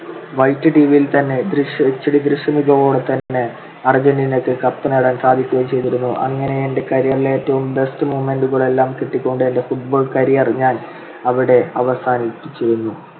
അർജന്റീനക്ക് cup നേടാൻ സാധിക്കുകയും ചെയ്‌തിരുന്നു. അങ്ങനെ എൻ്റെ career ലെ ഏറ്റവും best moment കളെല്ലാം കിട്ടികൊണ്ട് എൻ്റെ football career ഞാൻ അവിടെ അവസാനിപ്പിച്ചിരുന്നു.